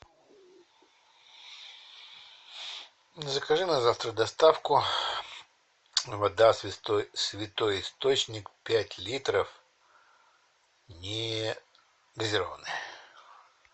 закажи на завтра доставку вода святой источник пять литров негазированная